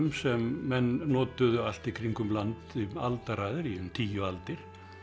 sem menn notuðu allt í kringum land í aldaraðir í um tíu aldir